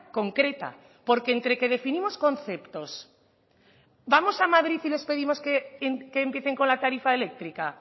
concreta porque entre que definimos conceptos vamos a madrid y les pedimos que empiecen con la tarifa eléctrica